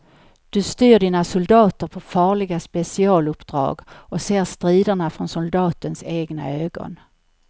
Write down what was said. Du styr dina soldater på farliga specialuppdrag och ser striderna från soldatens egna ögon.